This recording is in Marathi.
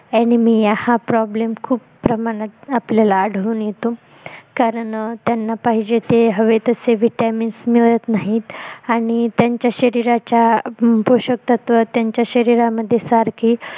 animiya हा problem आपल्याला आढळून येतो कारण त्यांना पाहिजे ते हवे तसे vitamins मिळत नाहीत आणि त्यांच्या शरीराच्या पोशक तत्व त्यांच्या शरीरामध्ये सारखे